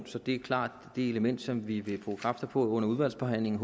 så det er klart det element som vi vil bruge kræfter på under udvalgsbehandlingen